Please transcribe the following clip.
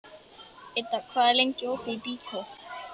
Idda, hvað er lengi opið í Byko?